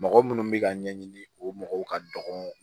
Mɔgɔ munnu bɛ ka ɲɛɲini o mɔgɔw ka dɔgɔ